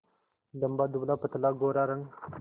लंबा दुबलापतला गोरा रंग